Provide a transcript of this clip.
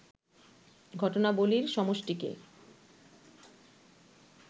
ঘটনাবলীর সমষ্টিকে